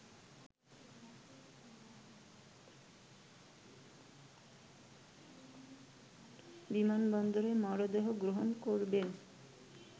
বিমানবন্দরে মরদেহ গ্রহণ করবেন